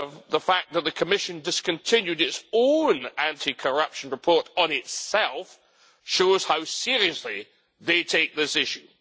The fact that the Commission discontinued its own anti corruption report on itself shows how seriously they take this issue.